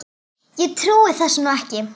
Ég trúi þessu nú ekki!